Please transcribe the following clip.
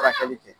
Furakɛli kɛ